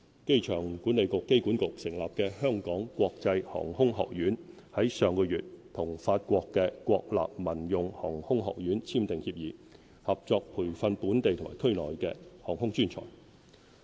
機場管理局成立的"香港國際航空學院"，於上月與法國國立民用航空學院簽訂協議，合作培訓本地及區內的航空專才。